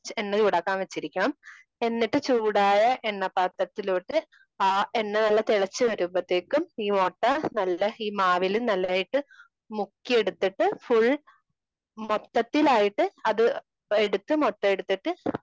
എണ്ണ ചൂടാക്കാൻ വച്ചിരിക്കണം എന്നിട്ട് ചൂടായ എണ്ണ പാത്രത്തിലോട്ട് ആ എണ്ണ നല്ല തിളച്ചു വരുമ്പോഴാത്തേക്കും ഈ മൊട്ട നല്ല ഈ മാവില് നല്ലായിട്ട് മുക്കിയെടുത്തിട്ട് ഫുൾ മൊത്തത്തിലായിട്ട് അത് എടുത്ത് മൊത്തം എടുത്തിട്ട്